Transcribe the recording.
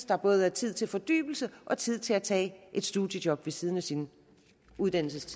der både er tid til fordybelse og tid til at tage et studiejob ved siden af sin uddannelse